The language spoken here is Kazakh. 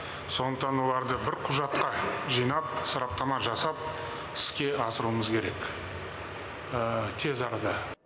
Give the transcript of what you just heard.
сондықтан оларды құжатқа жинап сараптама жасап іске асыруымыз керек тез арада